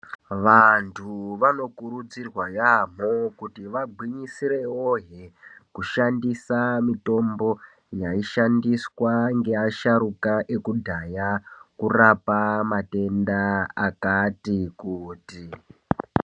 Vantu vanokurudzirwa yaamho kuti vagwinyisirewohe, kushandisa mitombo yaishandiswa ngevasharuka ekudhaya, kurapa matenda akati kuti.